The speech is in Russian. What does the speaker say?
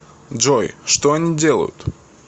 джой что они делают